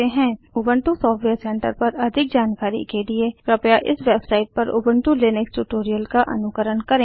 Ubuntu software centre पर अधिक जानकारी के लिए कृपया इस वेबसाइट पर उबंटु लिनक्स ट्यूटोरियल्स का अनुकरण करें